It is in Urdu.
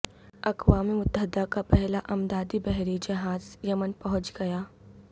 اقوام متحدہ کا پہلا امدادی بحری جہاز یمن پہنچ گیا